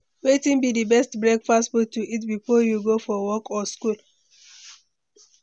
Wetin be di best breakfast food to eat before you go for work or school?